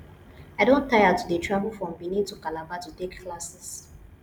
i don tire to dey travel from benin to calabar to take classes